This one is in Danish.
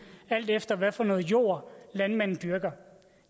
alt efter hvad for noget jord landmanden dyrker